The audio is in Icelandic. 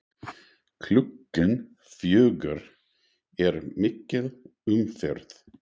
Klukkan fjögur er mikil umferð.